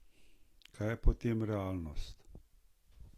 Kaj je potem realnost?